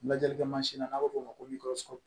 Lajɛlikɛ mansin n'an b'o fɔ o ma ko